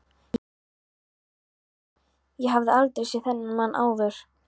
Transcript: Ég hafði aldrei séð þennan mann áður.